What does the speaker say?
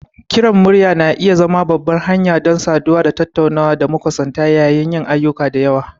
Kiran murya na iya zama babbar hanya don saduwa da tattunawa da makusanta yayin yin ayyuka da yawa.